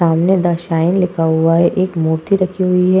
सामने the shine लिखा हुआ है। एक मूर्ति रखी हुई है।